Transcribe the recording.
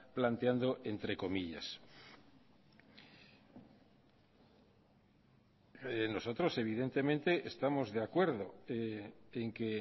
planteando entre comillas nosotros evidentemente estamos de acuerdo en que